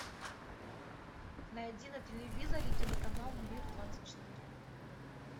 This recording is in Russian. найди на телевизоре телеканал мир двадцать четыре